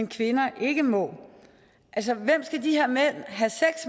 kvinder ikke må hvem skal de her med